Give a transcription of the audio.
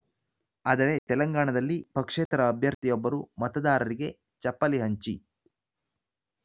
ಆದರೆ ತೆಲಂಗಾಣದಲ್ಲಿ ಪಕ್ಷೇತರ ಅಭ್ಯರ್ಥಿಯೊಬ್ಬರು ಮತದಾರರಿಗೆ ಚಪ್ಪಲಿ ಹಂಚಿ